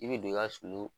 I bɛ don i ka sunu